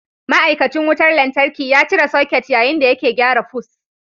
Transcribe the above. Ma'aikacin wutar lantarki ya cire soket yayin da yake gyara fus.